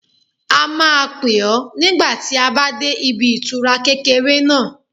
A máa pè ọ́ nígbà tí a bá dé ibi ìtura kékeré náà